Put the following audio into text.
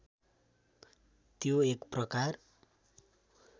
त्यो एक प्रकार